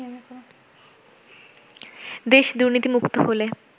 দেশ দুর্নীতিমুক্ত হলে